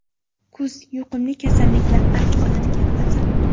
Kuz yuqumli kasalliklar avj oladigan fasl.